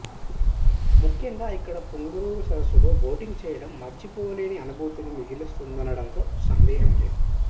ముఖ్యంగా ఇక్కడ పుంగనూర్ సర్సుస్సులో బోటింగ్ చేయడం మరిచిపోలేని అనుభూతిని మిగులుస్తుందనండంలో సందేహం లేదు